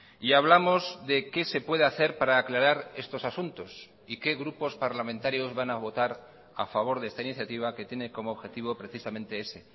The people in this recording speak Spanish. y hablamos de qué se puede hacer para aclarar estos asuntos y qué grupos parlamentarios van a votar a favor de esta iniciativa que tiene como objetivo precisamente ese